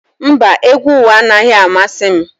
Mba, egwu ụwa anaghị amasị m